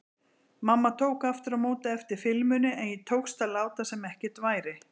Mamma tók aftur á móti eftir filmunni en tókst að láta sem ekkert væri.